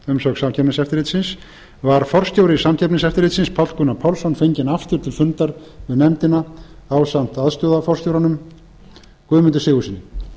umsögn samkeppniseftirlitsins var forstjóri samkeppniseftirlitsins páll gunnar pálsson fenginn aftur til fundar við nefndina ásamt aðstoðarforstjóranum guðmundi sigurðssyni